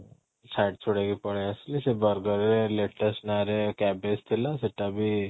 ଛାଡି ଛୁଡି ହେଇକି ପଳେଇ ଆସିଲି ସେ burger ରେ latest ନାଆଁ ରେ cabbage ଥିଲା ସେଟା ବି